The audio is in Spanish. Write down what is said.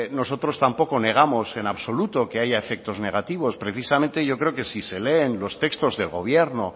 nosotros tampoco negamos en absoluto que haya efectos negativos precisamente yo creo que si se leen los textos del gobierno